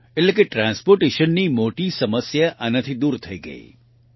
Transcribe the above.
એટલે કે transportationની મોટી સમસ્યા આનાથી દૂર થઈ ગઈ છે